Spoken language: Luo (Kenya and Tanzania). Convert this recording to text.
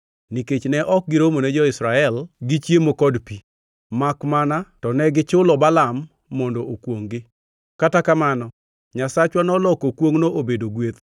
nikech ne ok giromone jo-Israel gi chiemo kod pi, makmana to negichulo Balaam mondo okwongʼ-gi. (Kata kamano, Nyasachwa noloko kwongʼno obedo gweth.)